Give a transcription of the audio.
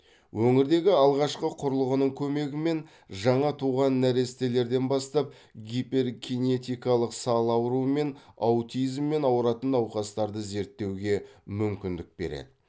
өңірдегі алғашқы құрылғының көмегімен жаңа туған нәрестелерден бастап гиперкинетикалық сал ауруы мен аутизммен ауыратын науқастарды зерттеуге мүмкіндік береді